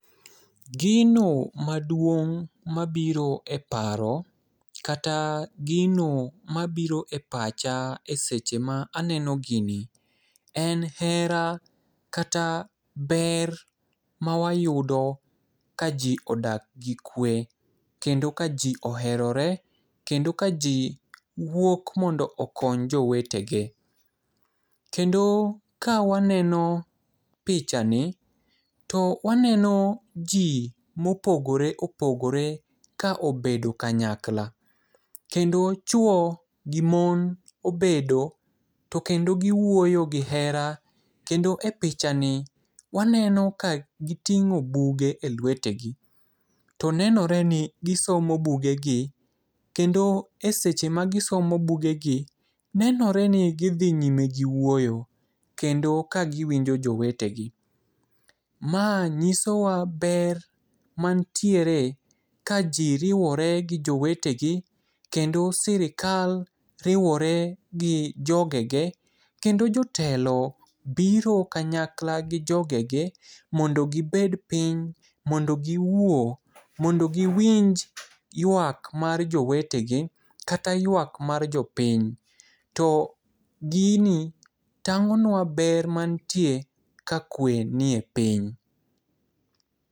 Gino maduong' mabiro e paro, kata gino mabiro e pacha eseche ma aneno gini en hera kata ber mawayudo kaji odak gi kwe kendo kaji oherore kendo kaji wuok mondo okony jowetege. Kendo kawaneno pichani to waneno ji mopogore opogore ka obedo kanyakla kendo chuo gi mon obedo to kendo giwuoyo gi hera to kendo e pichani waneno ka giting'o buge elwetegi. To nenore ni gisomo bugegi kendo eseche ma gisomo bugegi nenore ni gidhi nyime giwuoyo kendo ka giwinjo jowetegi. Ma nyisowa ber man tiere ka ji riwore gi jowetegi kendo sirkal riwore gi jogege, kendo jotelo biro kanyakla gi jogege mondo gibed piny mondo giwuo mondo giwinj ywak mar jowetegi kata yuak mar jopiny. To gini tang'onua ber mantie ka kwe nie piny.